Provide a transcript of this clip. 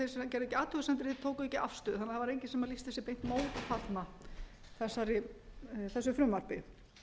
athugasemdir þeir tóku ekki afstöðu þannig að það var enginn sem lýsti sig beint mótfallinn þessu frumvarpi